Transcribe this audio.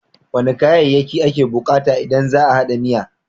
Wane kayayyaki ake bukata idan za a hada miya?